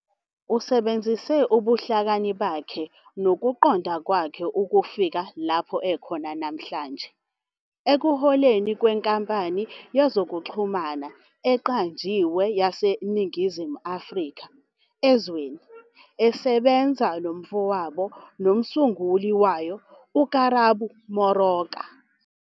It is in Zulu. Usebenzise ubuhlakani bakhe nokuqonda kwakhe ukufika lapho ekhona namhlanje, ekuholeni kwenkampani yezokuxhumana eqanjiwe yaseNingizimu Afrika, Ezweni, esebenza nomfowabo nomsunguli wayo uKarabo Moroka.